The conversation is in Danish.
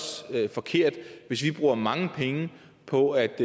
forkert hvis vi bruger mange penge på at